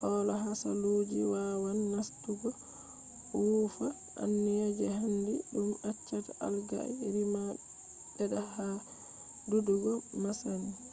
hola hasaluuji wawan nastugo wuufa anniya je handi dum accata algae rima bedda ha dudugo masin